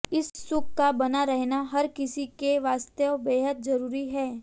इस सुख का बना रहना हर किसी के वास्ते बेहद जरूरी है